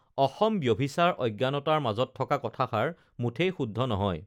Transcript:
অসম ব্যাভিচাৰ অ়জ্ঞানতাৰ মাজত থকা কথাষাৰ মুঠেই শুদ্ধ নহয়